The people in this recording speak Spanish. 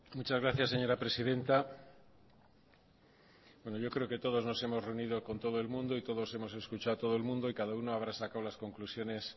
muchas gracias señora presidenta yo creo que todos nos hemos reunido con todo el mundo y todos hemos escuchado a todo el mundo y cada uno habrá sacado las conclusiones